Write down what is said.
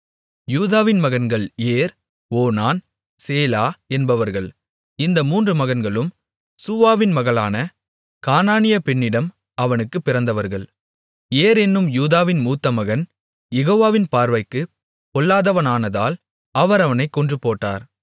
யூதாவின் மகன்கள் Er Onan Shelah என்பவர்கள் இந்த மூன்று மகன்களும் சூவாவின் மகளான கானானிய பெண்ணிடம் அவனுக்குப் பிறந்தவர்கள் ஏர் என்னும் யூதாவின் மூத்த மகன் யெகோவாவின் பார்வைக்குப் பொல்லாதவனானதால் அவர் அவனைக் கொன்றுபோட்டார்